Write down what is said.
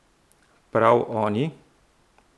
Prav oni?